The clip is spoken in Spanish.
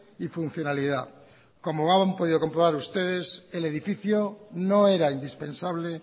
y funcionalidad como han podido comprobar ustedes el edificio no era indispensable